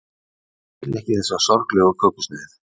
ég vil ekki þessa sorglegu kökusneið